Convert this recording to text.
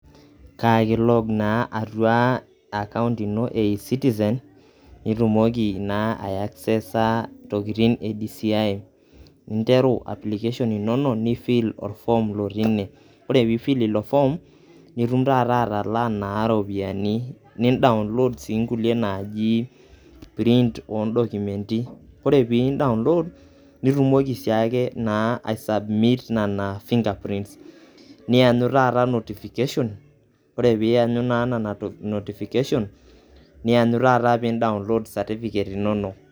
Kaake ilo naa atua akaunt ino e eCitizen nitumoki naa aiaccessa intokitin e DCI ninteru application inonok, nifill orform lotii ine. Kore piifil ilo form, nitum taata atalaa naa iropiani nidownload sii nkulie naaji print o ndocumenti. Ore piindownload nitumoki sii ake naa aisubmiit nena fingerprints niyanyu taata notification, ore piiyangu naa nana notification niyanyu taata pee indownload certificate inonok.